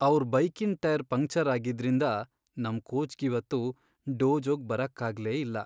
ಅವ್ರ್ ಬೈಕಿನ್ tyre puncture ಆಗಿದ್ರಿಂದ ನಮ್ ಕೋಚ್ಗಿವತ್ತು ಡೋಜೋಗ್ ಬರಕ್ಕಾಗ್ಲೇ ಇಲ್ಲ.